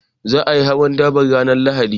Za a yi hawan daban ran Lahadi